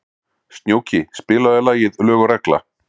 Snjóki, spilaðu lagið „Lög og regla“.